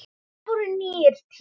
Það voru nýir tímar.